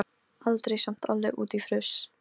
Langar að vera með þeim á öðrum stað.